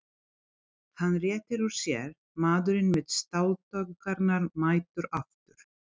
Hann réttir úr sér, maðurinn með stáltaugarnar mættur aftur.